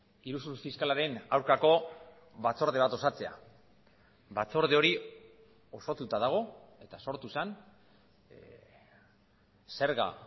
iruzur fiskalaren aurkako batzorde bat osatzea batzorde hori osatuta dago eta sortu zen zerga